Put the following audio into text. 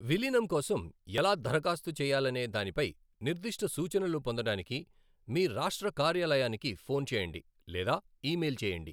విలీనం కోసం ఎలా దరఖాస్తు చేయాలనే దానిపై నిర్దిష్ట సూచనలు పొందడానికి మీ రాష్ట్ర కార్యాలయాన్ని ఫోన్ చేయండి లేదా ఈమెయిల్ చేయండి.